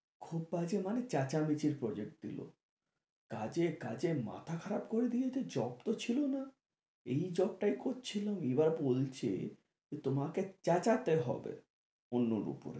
খুব বাজে মানে চেঁচামেচির project দিলো কাজের কাজের মাথা খারাপ করে দিয়েছে, job তো ছিলো না এই job টাই করছিলাম এবার বলছে যে তোমাকে চেঁচাতে হবে অন্যের ওপরে